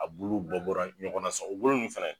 A buluw bɔ bɔra ɲɔgɔnna sɔn o bulu nunnu fɛnɛ